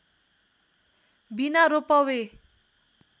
बिना रोपवे